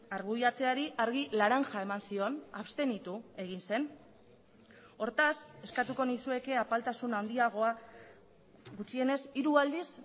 argudiatzeari argi laranja eman zion abstenitu egin zen hortaz eskatuko nizueke apaltasun handiagoa gutxienez hiru aldiz